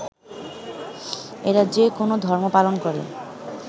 এরা যে কোনো ধর্ম পালন করে